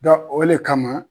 Dɔ o le kama